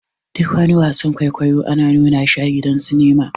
Duk wani wasan-kwaikwaiyo ana nuna shi a gidan sinima.